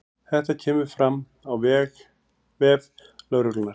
Þetta kemur fram á vef lögreglunnar